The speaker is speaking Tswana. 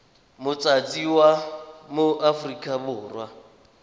motsadi wa mo aforika borwa